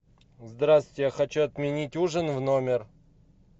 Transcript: здравствуйте я хочу отменить ужин в номер